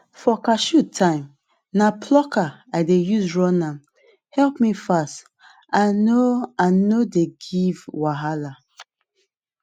for cashew time na plucker i dey use run ame help me fast and no and no dey give wahala